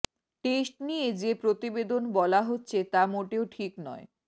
test নিয়ে যে প্রতিবেদন বলা হচ্ছে তা মোটেও ঠিক নয়